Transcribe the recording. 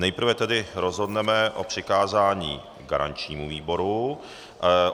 Nejprve tedy rozhodneme o přikázání garančnímu výboru.